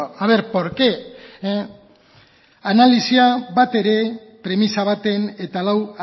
a ver porqué analisia bat ere premisa baten eta lau